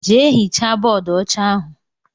Jee hichaa bóódú ọcha ahụ!!!!